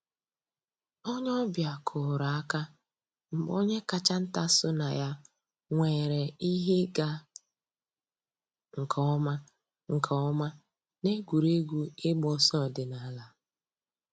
Ònyè ọ̀ bịa kùrùrù àkà mgbè ònyè káchà ńtà sọnà yà nwèrè íhè ị̀gà nkè ǒmà nkè ǒmà n'ègwè́régwụ̀ ị̀gba òsọ̀ òdìnàlà.